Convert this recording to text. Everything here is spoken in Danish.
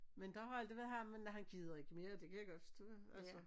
Men der har aldrig været ham men og han gider ikke mere det kan jeg godt forstå altså